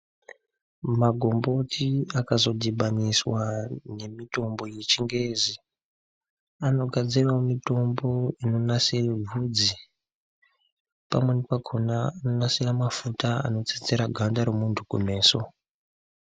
Magomboti akazodhibaniswa nemitombo yechingezi, anogadziravo mitombo inonasire vhudzi. Pamweni pakona anonasira mafuta anotsetsera ganda remuntu kumeso.